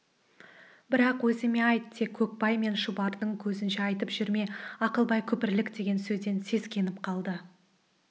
бірақ өзіме айт тек көкбай мен шұбардың көзінше айтып жүрме ақылбай күпірлік деген сөзден сескеніп қалды